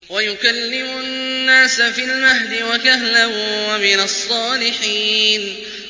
وَيُكَلِّمُ النَّاسَ فِي الْمَهْدِ وَكَهْلًا وَمِنَ الصَّالِحِينَ